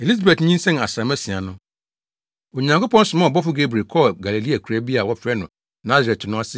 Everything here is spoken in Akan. Elisabet nyinsɛn asram asia no, Onyankopɔn somaa ɔbɔfo Gabriel kɔɔ Galilea akuraa bi a wɔfrɛ no Nasaret no ase